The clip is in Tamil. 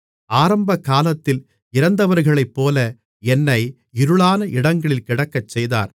ஆரம்பகாலத்தில் இறந்தவர்களைப்போல என்னை இருளான இடங்களில் கிடக்கச்செய்தார்